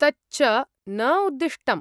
तच्च न उद्दिष्टम्।